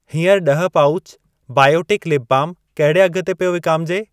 हीअंर ॾह pouch Biotique lip balm कहिड़े अघ ते पियो विकामिजे?